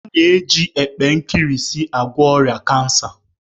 A na-eji epe nkirisi agwọ ọrịa kansa